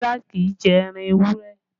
Kọ́lá kì í jẹ ẹran ewúrẹ́